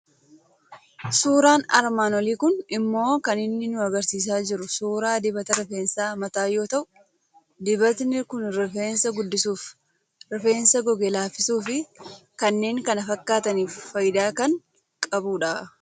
Suuraan armaan olii kuni immoo kan inni nu argisiisaa jiru suuraa dibata rifeensa mataa yoo ta'eu, dibatni kun rifeensa guddisuuf, rifeensa goge laaffisuuf fi kannnen kan fakkaataniif faayidaa kan qabudha.